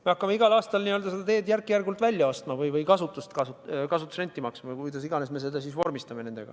Me hakkame igal aastal seda teed järk-järgult välja ostma või selle eest kasutusrenti maksma või kuidas iganes me selle vormistame.